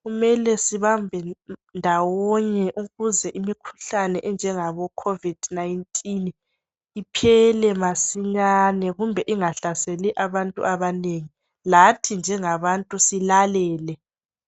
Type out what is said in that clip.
kumele sibambe ndawonye ukuze imikhuhlane enjengabo Covid 19 iphele masinyane kumbe ingahlaseli abantu abanengi lathi njengabantu silalele